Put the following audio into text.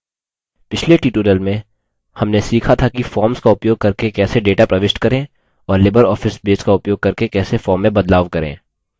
पिछले tutorial में हमने सीखा था कि forms का उपयोग करके कैसे data प्रविष्ट करें और libreoffice base का उपयोग करके कैसे forms में बदलाव करें